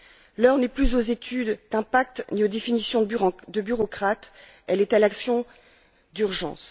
L'heure n'est plus aux études d'impact ni aux définitions de bureaucrates, elle est à l'action d'urgence.